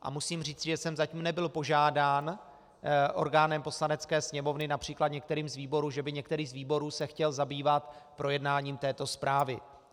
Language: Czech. A musím říci, že jsem zatím nebyl požádán orgánem Poslanecké sněmovny, například některým z výborů, že by některý z výborů se chtěl zabývat projednáním této zprávy.